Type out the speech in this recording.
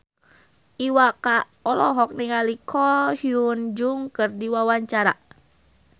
Iwa K olohok ningali Ko Hyun Jung keur diwawancara